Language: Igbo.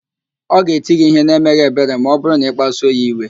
Ọ ga-eti gị ihe na-emeghị ebere ma ọ bụrụ na-ịkpasuo ya iwe